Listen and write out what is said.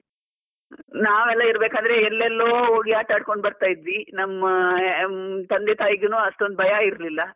ನಾವ್ ಎಲ್ಲ ಇರ್ಬೇಕಾದ್ರೆ ಎಲ್ಲೆಲ್ಲೋ ಹೋಗಿ ಆಟಡ್ಕೊಂಡು ಬರ್ತಾ ಇದ್ವಿ ನಮ್ಮಾ ತಂದೆ ತಾಯಿಗಿನು ಅಷ್ಟೊಂದು ಭಯ ಇರ್ಲಿಲ್ಲ.